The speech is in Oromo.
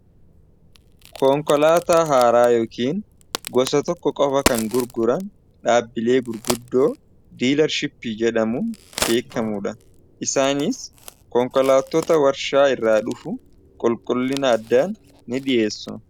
konkolaata haaraa yookaan gosa tokko qofa kan gurguran dhaabbilee gurguddoo diilarshippii jedhamuun beekamuudha . isaaniis konkolaattota warshaa irraa dhufu qulqullina addaan ni dhi'eessu